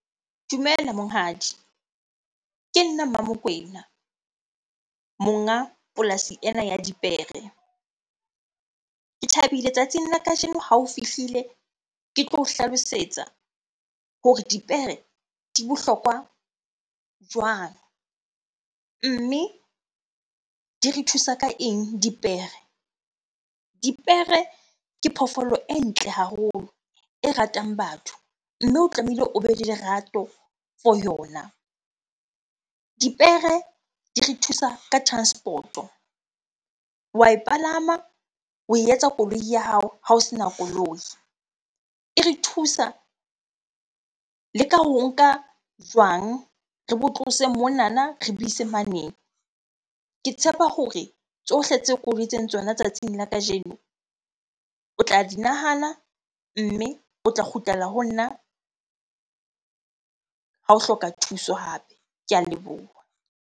Dumela monghadi. Ke nna Mmamokwena, monga polasi ena ya dipere. Ke thabile tsatsing la kajeno ha o fihlile, ke tlo o hlalosetsa hore dipere di bohlokwa jwang? Mme di re thusa ka eng dipere? Dipere ke phoofolo e ntle haholo, e ratang batho. Mme o tlamehile o be le lerato for yona. Dipere di re thusa ka transport-o. Wa e palama, oe etsa koloi ya hao ha o sena koloi. E re thusa le ka ho nka jwang, re bo tlose monana re bo ise mane. Ke tshepa hore tsohle tse koloi tsona tsatsing la kajeno o tla di nahana, mme o tla kgutlela ho nna ha o hloka thuso hape. Ke a leboha.